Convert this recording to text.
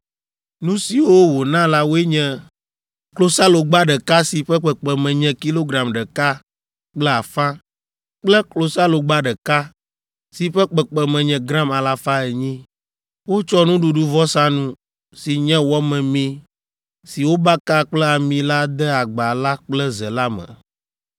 Nu siwo wòna la woe nye klosalogba ɖeka si ƒe kpekpeme nye kilogram ɖeka kple afã kple klosalogba ɖeka, si ƒe kpekpeme nye gram alafa enyi. Wotsɔ nuɖuɖuvɔsanu, si nye wɔ memee si wobaka kple ami la de agba la kple ze la me;